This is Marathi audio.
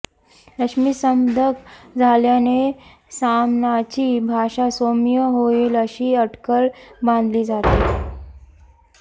रश्मी संपदक झाल्याने सामनाची भाषा सौम्य होईल अशी अटकळ बांधली जाते